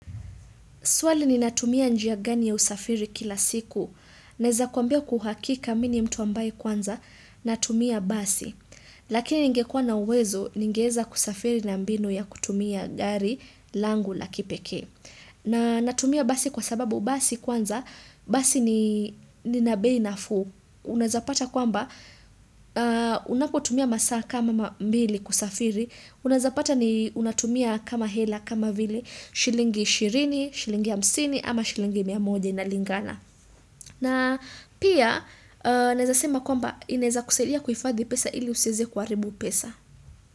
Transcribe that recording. Swali ni? Natumia njia gani ya usafiri kila siku? Naeza kwambia kwa uakika mimi ni mtu ambaye kwanza, natumia basi. Lakini ningekuwa na uwezo, ningeweza kusafiri na mbinu ya kutumia gari langu la kipekee. Na natumia basi kwa sababu basi kwanza, basi ni ina bei nafu. Unaezapata kwamba, unapo tumia masaa kama mbili kusafiri. Unazapata ni unatumia kama hela, kama vile shilingi ishirini, shilingi hamsini ama shilingi mia moja iinalingana. Pia naeza sema kwamba ineza kusadia kuifadhi pesa ili husiweze kuharibu pesa.